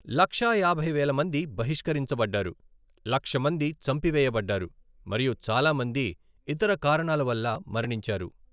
లక్షా యాభై వేల మంది బహిష్కరించబడ్డారు, లక్ష మంది చంపివేయబడ్డారు మరియు చాలా మంది ఇతర కారణాల వల్ల మరణించారు.